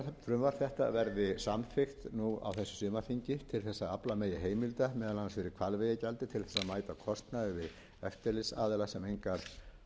frumvarp þetta verði samþykkt nú á þessu sumarþingi til þess að afla megi heimilda meðal annars fyrir hvalveiðigjaldi til þess að mæta kostnaði eftirlitsaðila sem engar